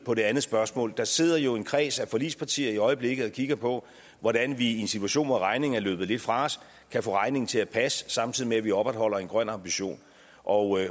på det andet spørgsmål der sidder jo en kreds af forligspartier i øjeblikket og kigger på hvordan vi i en situation hvor regningen er løbet lidt fra os kan få regningen til at passe samtidig med at vi opretholder en grøn ambition og